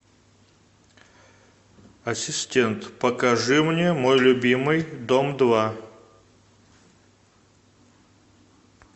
ассистент покажи мне мой любимый дом два